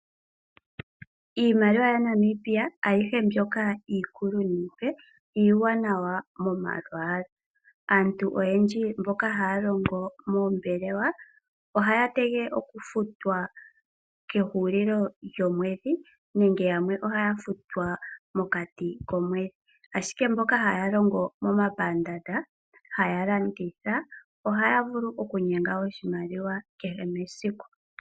Iimaliwa yaNamibia ayihe mbyoka iikulu niipe, iiwanawa momalwaala. Aantu oyendji mboka haya longo moombelewa ohaya tegelele okufutwa kehulilo lyomwedhi nenge yamwe ohaya futwa mokati komwedhi, ashike mboka haya longo momapandaanda haya landitha ohaya vulu okunyenga oshimaliwa kehe mesiku.